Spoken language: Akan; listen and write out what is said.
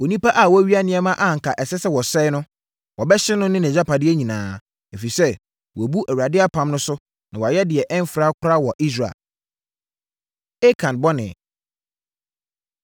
Onipa a wawia nneɛma a anka ɛsɛ sɛ wɔsɛe no, wɔbɛhye no ne nʼagyapadeɛ nyinaa, ɛfiri sɛ wabu Awurade apam no so na wayɛ deɛ ɛmfra koraa wɔ Israel.’ ” Akan Bɔne